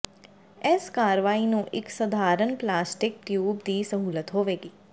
ਇਸ ਕਾਰਵਾਈ ਨੂੰ ਇੱਕ ਸਧਾਰਨ ਪਲਾਸਟਿਕ ਟਿਊਬ ਦੀ ਸਹੂਲਤ ਹੋਵੇਗੀ